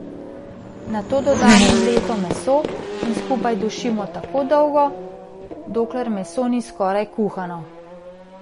Nato dodamo mleto meso in dušimo tako dolgo, dokler meso ni skoraj kuhano.